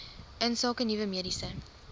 insake nuwe mediese